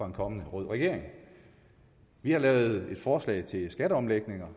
en kommende rød regering vi har lavet et forslag til skatteomlægninger